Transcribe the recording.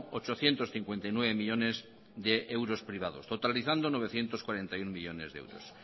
ochocientos cincuenta y nueve millónes de euros privados totalizando novecientos cuarenta y uno millónes de euros